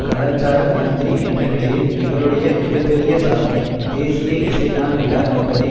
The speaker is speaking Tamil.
கலாச்சார மந்திரி என்ற நிலையில் இவருடைய மிக பெரிய சாதனை தேசிய இசை நாள் விழா என்பதை